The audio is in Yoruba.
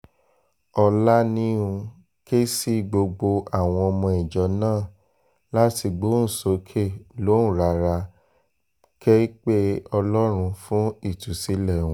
ọ̀lanihun ké sí gbogbo àwọn ọmọ ìjọ náà láti gbóhùn sókè lóhùn rárá kẹ̀ pé ọlọ́run fún ìtúsílẹ̀ wọn